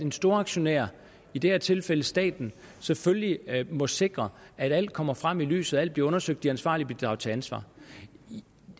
en storaktionær i det her tilfælde staten selvfølgelig må sikre at alt kommer frem i lyset at alt bliver undersøgt de ansvarlige bliver draget til ansvar